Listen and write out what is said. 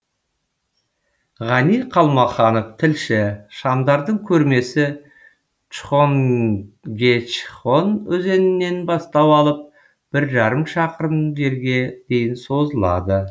ғани қалмаханов тілші шамдардың көрмесі чхонгечхон өзенінен бастау алып бір жарым шақырым жерге дейін созылады